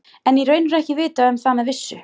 En í raun er ekki vitað um það með vissu.